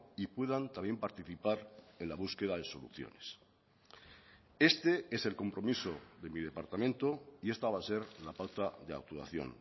y puedan también participar en la búsqueda de soluciones este es el compromiso de mi departamento y esta va a ser la pauta de actuación